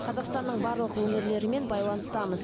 қазақстанның барлық өңірлерімен байланыстамыз